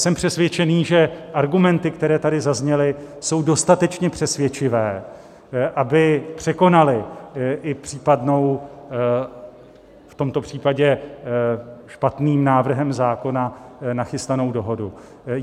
Jsem přesvědčený, že argumenty, které tady zazněly, jsou dostatečně přesvědčivé, aby překonaly i případnou v tomto případě špatným návrhem zákona nachystanou dohodu.